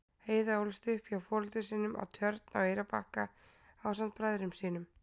Heiða ólst upp hjá foreldrum sínum á Tjörn á Eyrarbakka ásamt bræðrum sínum.